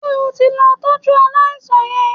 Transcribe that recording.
Ṣé o ti lọ tọ́jú aláìsàn yẹn?